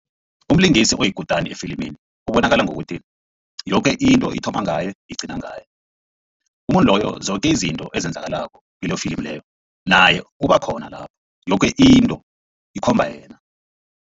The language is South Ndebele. Umlingisi oyikutani efilimini ubonakala ngokuthi yoke into ithoba ngaye igcina ngaye. Umuntu loyo zoke izinto ezenzakalako kilelo filimi leyo naye ubakhona lapho yoke into ikhomba yena.